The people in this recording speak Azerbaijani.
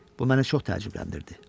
Bu məni çox təəccübləndirdi.